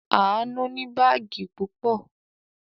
Àánú ní báágì púpọ̀.